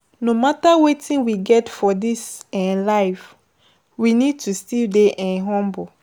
No matter wetin we get for this um life, we need to still dey um humble